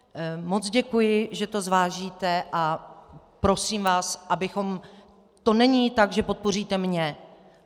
Moc děkuji, že to zvážíte, a prosím vás, abychom - to není tak, že podpoříte mě.